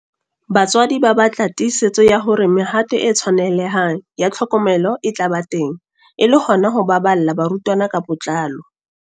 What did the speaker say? Batswadi ba batla tiisetso ya hore mehato e tshwanelehang ya tlhokomelo e tla ba teng e le hona ho baballa barutwana ka botlalo.